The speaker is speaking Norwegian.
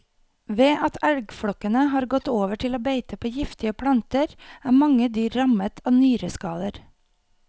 Ved at elgflokkene har gått over til å beite på giftige planter, er mange dyr rammet av nyreskader.